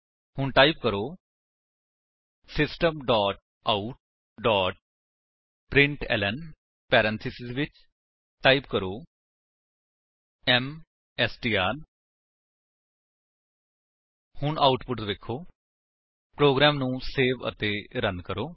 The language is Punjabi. ਹੁਣ ਟਾਈਪ ਕਰੋ system dot out dot println parenthesis ਵਿੱਚ ਟਾਈਪ ਕਰੋ ਐਮਐਸਟੀਆਰ ਹੁਣ ਆਉਟਪੁਟ ਵੇਖੋ ਪ੍ਰੋਗਰਾਮ ਨੂੰ ਸੇਵ ਅਤੇ ਰਨ ਕਰੋ